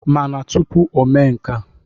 Mana tụpụ omee nka.